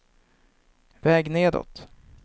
väg nedåt